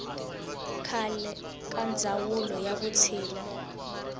khale ka ndzawulo ya vutshila